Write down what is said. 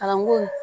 Arabu